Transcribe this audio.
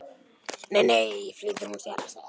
Nei, nei flýtir hún sér að segja.